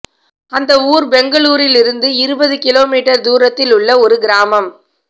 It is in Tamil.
அந்த ஊர் பெங்களூரிலிருந்து இருபது கிலோ மீட்டர் தூரத்தில் உள்ள ஒரு கிராமம்